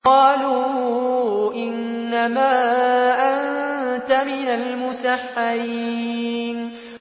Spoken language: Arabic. قَالُوا إِنَّمَا أَنتَ مِنَ الْمُسَحَّرِينَ